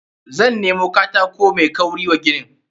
Zan nemo katako mai kauri wa ginin.